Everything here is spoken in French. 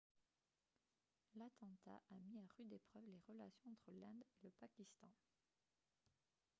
l'attentat a mis à rude épreuve les relations entre l'inde et le pakistan